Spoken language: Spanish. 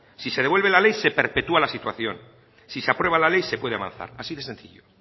si se devuelve la ley se perpetúa la situación si se aprueba la ley se puede avanzar así de sencillo